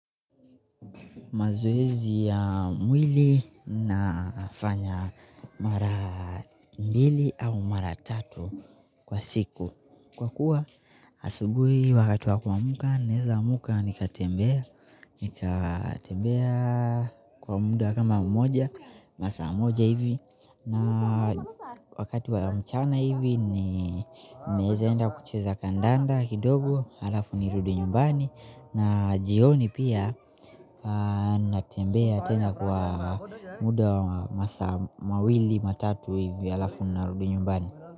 Mazoezi ya mwili na fanya mara mbili au mara tatu kwa siku. Kwa kuwa asubuhi wakati wa kuamka, naweza kuamka nikatembea nikatembea kwa muda kama mmoja, masaa moja hivi na wakati wa mchana hivi, naweza kwenda kucheza kandanda kidogo, halafu nirudi nyumbani na jioni pia natembea tena kwa muda wa masaa mawili matatu halafu narudi nyumbani.